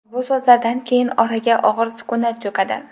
Bu so‘zlardan keyin oraga og‘ir sukunat cho‘kadi.